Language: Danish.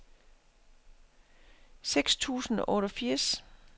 seks tusind og otteogfirs